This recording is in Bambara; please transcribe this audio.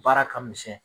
Baara ka misɛn